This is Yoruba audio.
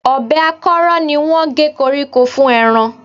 Ọ̀bẹ akọ́rọ́ ni wọ́n gé koríko fún ẹran